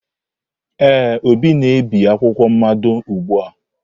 Ee, Obi na-ebi akwụkwọ mmado ugbu a.